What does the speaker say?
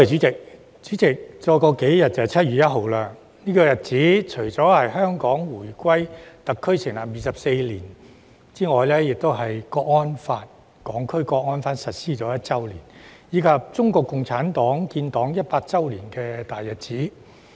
主席，數天後便是7月1日，這一天除了是香港回歸暨特區成立24周年，亦是《香港國安法》實施1周年，以及中國共產黨建黨100周年的大日子。